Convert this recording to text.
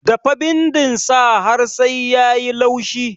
Dafa bindin sa har sai yayi laushi